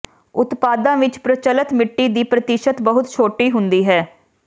ਉਤਪਾਦਾਂ ਵਿੱਚ ਪ੍ਰਚੱਲਤ ਮਿੱਟੀ ਦੀ ਪ੍ਰਤੀਸ਼ਤ ਬਹੁਤ ਛੋਟੀ ਹੁੰਦੀ ਹੈ